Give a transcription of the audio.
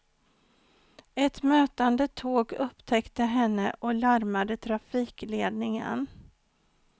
Ett mötande tåg upptäckte henne och larmade trafikledningen.